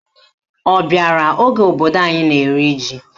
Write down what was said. Ọ bịara oge obodo anyị na-eri ji?